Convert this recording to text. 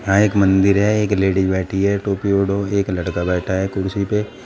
यहां एक मंदिर है एक लेडीज बैठी है टोपी ओढ़ो एक लड़का बैठा है कुर्सी पे--